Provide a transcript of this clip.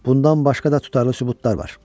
Bundan başqa da tutarlı sübutlar var.